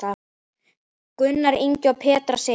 Gunnar Ingi og Petra Sif.